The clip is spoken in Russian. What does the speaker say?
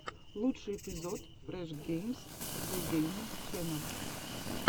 лучший эпизод фреш геймс зэ геймин ченел